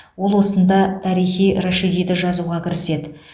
ол осында тарихи рашидиді жазуға кіріседі